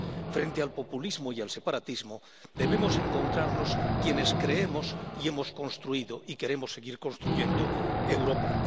Frente al populismo y al separatismo, debemos encontrarnos quienes creemos y hemos construido y queremos seguir construyendo Europa.